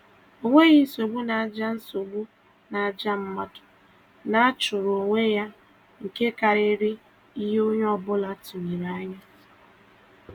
Ọ nweghị nsogbu na àjà nsogbu na àjà mmadụ na-achụrụ onwe ya nke karịrị ihe onye ọbụla tụrụ anya